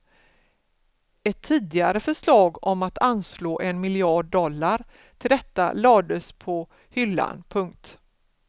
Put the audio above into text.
Ett tidigare förslag om att anslå en miljard dollar till detta lades på hyllan. punkt